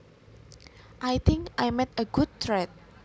I think I made a good trade